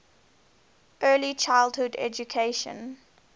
early childhood education